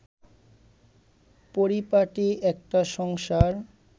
পরিপাটি একটা সংসার